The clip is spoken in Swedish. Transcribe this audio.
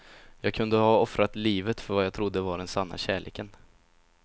Jag kunde ha offrat livet för vad jag trodde var den sanna kärleken.